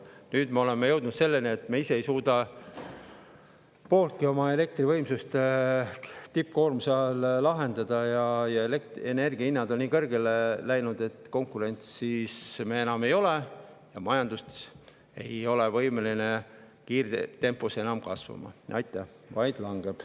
Nüüd me oleme jõudnud selleni, et me ei suuda ise pooltki oma elektri tippkoormuse ajal ja elektrienergia hinnad on nii kõrgele läinud, et konkurentsis me enam ei ole ning majandus ei ole võimeline kiirtempos kasvama, vaid langeb.